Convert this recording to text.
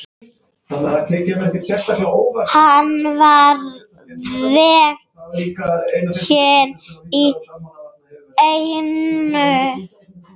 Hann var veginn í eynni.